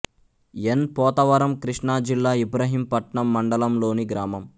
ఎన్ పోతవరం కృష్ణా జిల్లా ఇబ్రహీంపట్నం మండలం లోని గ్రామం